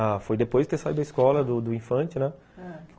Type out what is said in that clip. Ah, foi depois de ter saído da escola, do do infante, né? ãh